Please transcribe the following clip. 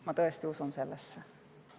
Ma tõesti usun sellesse.